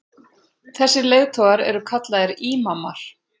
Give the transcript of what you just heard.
þessir leiðtogar eru kallaðir ímamar